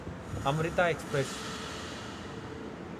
Amrita express